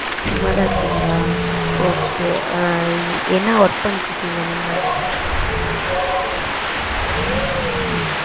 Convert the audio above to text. சும்மாதா இருக்கிங்களா? okay ஆஹ் என்ன work பண்ணிட்டு இருக்கீங்க நீங்க